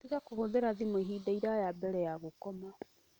Tiga kũhũthĩra thimũ ihinda iraya mbere ya gũkoma.